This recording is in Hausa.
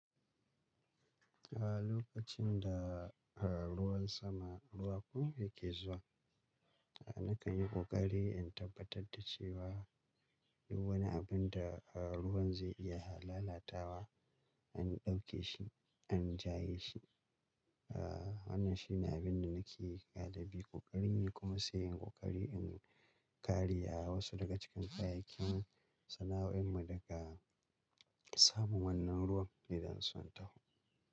A lokacin da ruwan sama, ruwa kuma yake zuwa, nakan yi ƙoƙari in tabbatar da cewa duk wani abin da ruwan zai iya lalatawa, an ɗauke shi, an jaye shi. Wannan shi ne abin da nake galibi ƙoƙari ne kuma sai in ƙoƙari in kare wasu daga cikin kayakin sana'o'in mu daga samun wannan ruwan idan sun taho.